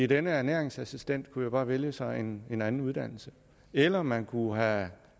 den ernæringsassistent kunne jo bare vælge sig en en anden uddannelse eller man kunne have